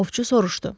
Ovçu soruşdu.